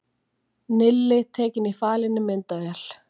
Nilli tekinn í falinni myndavél